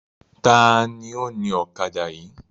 Taàní ó ní ọ̀kadà yìí?